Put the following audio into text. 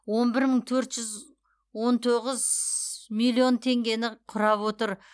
он бір мың төрт жүз он тоғыз миллион теңгені құрап отыр